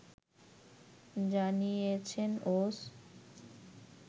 জানিয়েছেন ওস